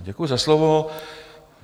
Děkuji za slovo.